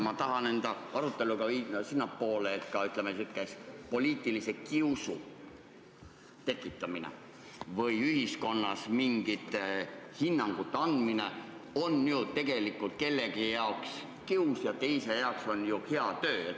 Ma tahan oma aruteluga jõuda sinnamaani, et, ütleme, poliitilise kiusu tekitamine või ühiskonnas mingite hinnangute andmine on tegelikult kellegi jaoks kius ja mõne teise jaoks hea töö.